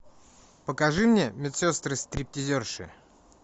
покажи мне медсестры стриптизерши